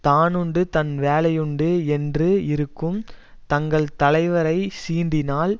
தானுண்டு தன் வேலையுண்டு என்று இருக்கும் தங்கள் தலைவரை சீண்டினால்